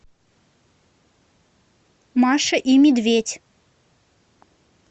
маша и медведь